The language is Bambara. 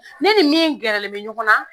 Ne ni min gɛrɛlen bɛ ɲɔgɔn na